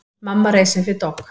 Mamma reis upp við dogg.